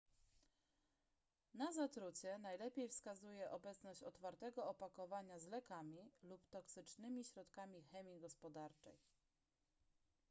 na zatrucie najlepiej wskazuje obecność otwartego opakowania z lekami lub toksycznymi środkami chemii gospodarczej